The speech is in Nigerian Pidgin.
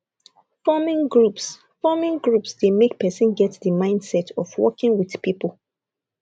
forming groups forming groups dey make person get di mindset of working with pipo